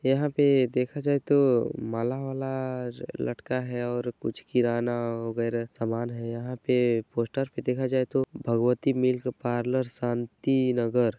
यहाँ पे देखा जाए तो माला वाला लटका है और कुछ किराना वगैरा समान है यहाँ पे पोस्टर पे देखा जाए तो भगवती मिल्क पार्लर शांति नगर--